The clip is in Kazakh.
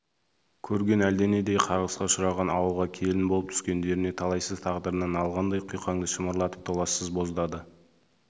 көрген әлденендей қарғысқа ұшыраған ауылға келін болып түскендеріне талайсыз тағдырына налығандай құйқаңды шымырлатып толассыз боздады